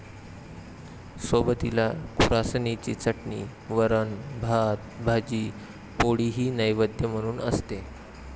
सोबतीला खुरासणीची चटणी, वरण, भात, भाजी पोळीही नैवेद्य म्हणून असते.